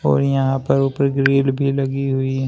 और यहां पर ऊपर की ग्रिल भी लगी हुई है।